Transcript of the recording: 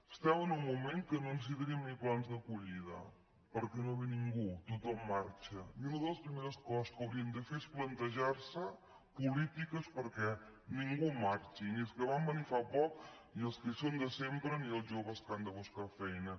estem en un moment en què no necessita·ríem ni plans d’acollida perquè no ve ningú tothom marxa i una de les primeres coses que hauríem de fer és plantejar·nos polítiques perquè ningú marxi ni els que van venir fa poc ni els que hi són de sempre ni els joves que han de buscar feina